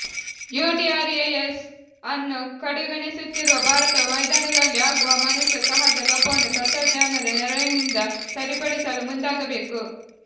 UDRS ಅನ್ನು ಕಡೆಗಣಿಸುತ್ತಿರುವ ಭಾರತವು ಮೈದಾನದಲ್ಲಿ ಆಗುವ ಮನುಷ್ಯ ಸಹಜ ಲೋಪವನ್ನು ತಂತ್ರಜ್ಞಾನದ ನೆರವಿನಿಂದ ಸರಿಪಡಿಸಲು ಮುಂದಾಗಬೇಕು